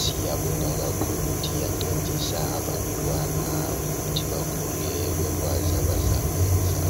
Siyabonga kakhulu ukuthi iyancedisa abantwana ukuthi bakhule bekwazi abazakwenza.